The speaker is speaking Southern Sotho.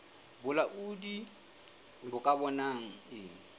bolaodi bo ka bonang e